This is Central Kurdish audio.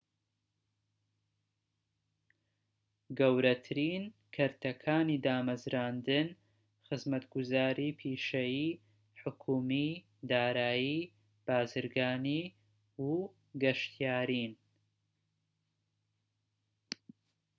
گەورەترین کەرتەکانی دامەزراندن خزمەتگوزاری پیشەیی، حکومی، دارایی، بازرگانی و گەشتیارین‎